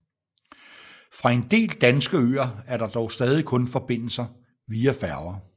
Fra en del danske øer er der dog stadig kun forbindelse via færger